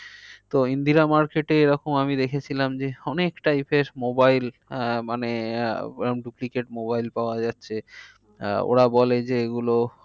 তো ইন্দ্রিরা market এ এরম আমি দেখেছিলাম যে অনেক type এর mobile আহ মানে আহ ওরকম duplicate mobile পাওয়া যাচ্ছে। ওরা বলে যে এগুলো